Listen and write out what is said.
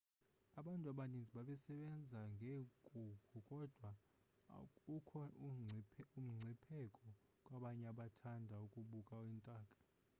abantu abaninzi bebesebenza ngeenkukhu kodwa ukho umngcipheko kwabanye abathanda ukubuka iintaka